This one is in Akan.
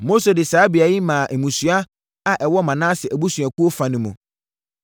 Mose de saa beaeɛ yi maa mmusua a ɛwɔ Manase abusuakuo fa no mu.